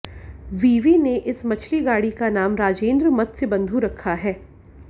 विवि ने इस मछली गाड़ी का नाम राजेंद्र मत्स्य बंधु रखा है